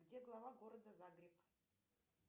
где глава города загреб